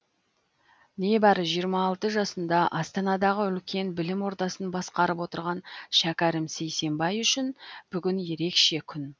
небәрі жиырма алты жасында астанадағы үлкен білім ордасын басқарып отырған шәкәрім сейсенбай үшін бүгін ерекше күн